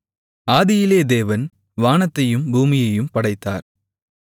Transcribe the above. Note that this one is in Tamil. ஆதியிலே தேவன் வானத்தையும் பூமியையும் படைத்தார்